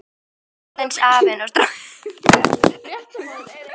Aðeins afinn og strákurinn reyndust skyggnir.